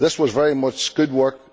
This was very much good work.